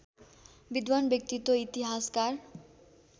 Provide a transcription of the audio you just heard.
विद्वान व्यक्तित्त्व इतिहासकार